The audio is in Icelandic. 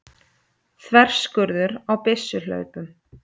Þverskurður á byssuhlaupum.